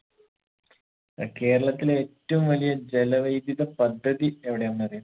ഏർ കേരളത്തിലെ ഏറ്റവും വലിയ ജലവൈദ്യുത പദ്ധതി എവിടെയാന്നറിയ